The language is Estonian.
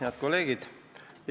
Head kolleegid!